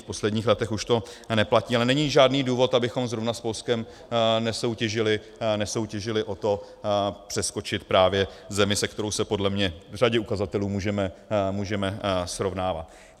V posledních letech už to neplatí, ale není žádný důvod, abychom zrovna s Polskem nesoutěžili o to přeskočit právě zemi, se kterou se podle mě v řadě ukazatelů můžeme srovnávat.